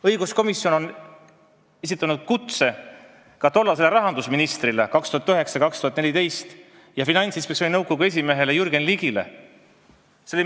Õiguskomisjon on esitanud kutse rahandusministrile aastail 2009–2014 Jürgen Ligile, kes oli ka Finantsinspektsiooni nõukogu esimees.